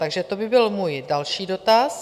Takže to by byl můj další dotaz.